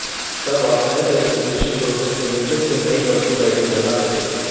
तब आप नए वेरीफिकेशन प्रोसेस के लिए फिर से नई वर्चुअल आईडी बना सकेंगे